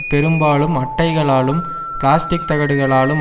பெரும்பாலும் அட்டைகளாலும் பிளாஸ்டிக் தகடுகளாலும்